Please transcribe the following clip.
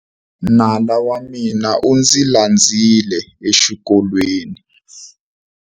Nala wa mina u ndzi landzile exikolweni.